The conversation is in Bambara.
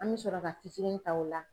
An bɛ sɔrɔ ka fitinin ta o la.